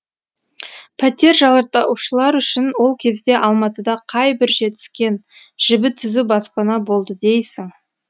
пәтер жалдаушылар үшін ол кезде алматыда қай бір жетіскен жібі түзу баспана болды дейсің